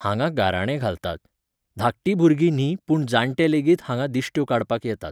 हांगा गाराणें घालतात. धाकटी भुरगीं न्ही पूण जाणटे लेगीत हांगा दिश्ट्यो काडपाक येतात